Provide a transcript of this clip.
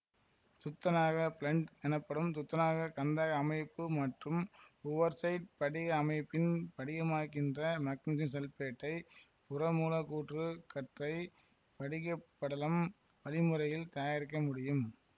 துத்தநாக blende எனப்படும் துத்தநாகக் கந்தக அமைப்பு மற்றும் உவர்ட்சைட் படிக அமைப்பில் படிகமாகின்ற மக்னீசியம் சல்பைடை புறமூலக்கூற்று கற்றை படிகப்படலம் வழிமுறையில் தயாரிக்க முடியும்